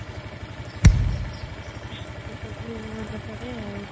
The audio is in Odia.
ସେ ସବୁ ମନେ ପଡେ ଆଉ